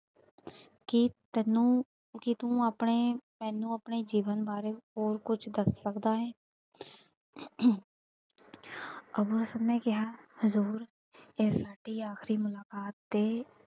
ਕੀ ਤੈਨੂੰ, ਕੀ ਤੂੰ ਆਪਣੇ ਮੈਨੂੰ ਆਪਣੇ ਜੀਵਨ ਬਾਰੇ ਹੋਰ ਕੁਛ ਦੱਸ ਸਕਦਾ ਐਂ ਅਮ ਅੱਬੂ ਹਸਨ ਨੇ ਕਿਹਾ ਹਜ਼ੂਰ ਇਹ ਸਾਡੀ ਆਖ਼ਰੀ ਮੁਲਾਕਾਤ ਏ।